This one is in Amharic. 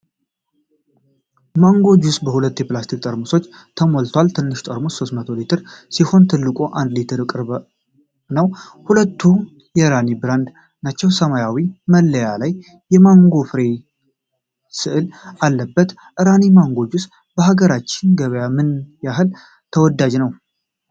ማንጎ ጁስ በሁለት የፕላስቲክ ጠርሙሶች ተሞልቷል። ትንሹ ጠርሙስ 300 ሚሊሊትር ሲሆን ትልቁ ለ 1 ሊትር ቅርብ ነው። ሁለቱም የራኒ ብራንድ ናቸው። የሰማያዊ መለያ ላይ የማንጎ ፍሬ ሥዕል አለበት። ራኒ ማንጎ ጁስ በሀገራችን ገበያ ምን ያህል ተወዳጅ ነው?